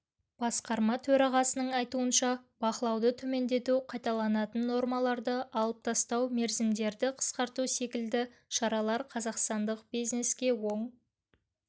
басқарма төрағасының айтуынша бақылауды төмендету қайталанатын нормаларды алып тастау мерзімдерді қысқарту секілді шаралар қазақстандық бизнеске оң